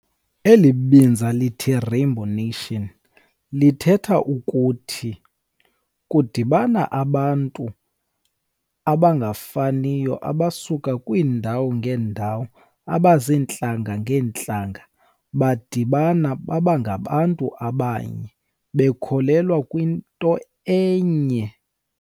Eli lithi Rainbow Nation lithetha ukuthi kudibana abantu abangafaniyo abasuka kwiindawo ngeendawo, abaziintlanga ngeentlanga, badibana baba ngabantu abanye bekholelwa kwinto enye.